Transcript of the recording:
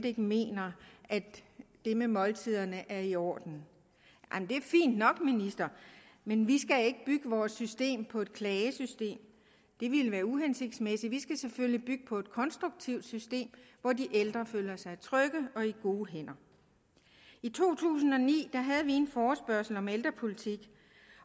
ikke mener at det med måltiderne er i orden det er fint nok men vi skal ikke bygge vores system på et klagesystem det ville være uhensigtsmæssigt vi skal selvfølgelig bygge på et konstruktivt system hvor de ældre føler sig trygge og i gode hænder i to tusind og ni havde vi en forespørgsel om ældrepolitik